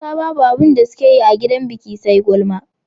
mata Babu abinda sukeyi a gidan biki SE gulma